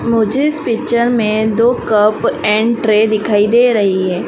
मुझे इस पिक्चर में दो कप एंड ट्रे दिखाई दे रही है।